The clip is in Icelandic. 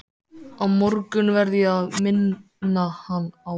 Á morgun verð ég að minna hann á það.